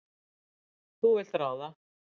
Þú vilt ráða.